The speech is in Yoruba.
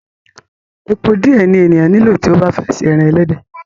Epo díẹ̀ ni ènìyàn nílò tí ó bá fẹ́ se ẹran ẹlẹ́dẹ̀.